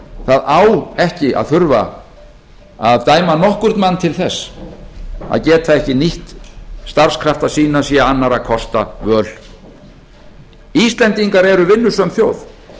það á ekki að þurfa að dæma nokkurn mann til þess að geta ekki nýtt starfskrafta sína sé annarra kosta völ íslendingar eru vinnusöm þjóð